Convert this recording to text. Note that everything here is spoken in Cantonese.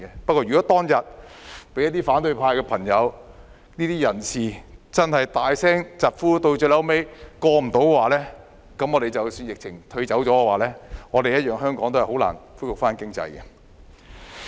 不過，如果當年因反對派朋友或人士大聲疾呼，以致這項安排最後沒有通過的話，這樣即使疫情退卻，香港經濟一樣難以恢復。